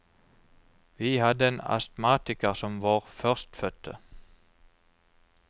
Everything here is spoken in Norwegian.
Vi hadde en astmatiker som vår førstefødte.